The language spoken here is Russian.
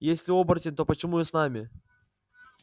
если оборотень то почему с нами